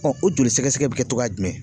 o joli sɛgɛsɛgɛ bi kɛ togoya jumɛn ?